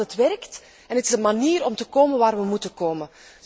We weten dat het werkt, en het is een manier om te komen waar we moeten komen.